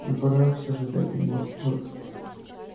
но пора всё же дать ему отпор